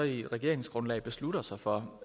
i regeringsgrundlaget beslutter sig for